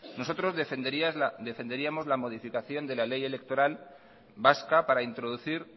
nosotros defenderíamos la modificación de la ley electoral vasca para introducir